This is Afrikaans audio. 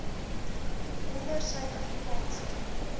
onder suid afrikaanse